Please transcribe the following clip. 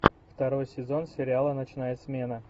второй сезон сериала ночная смена